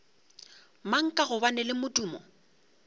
mang ka gobane le modumo